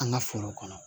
An ka foro kɔnɔ